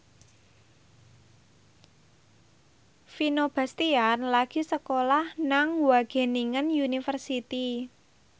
Vino Bastian lagi sekolah nang Wageningen University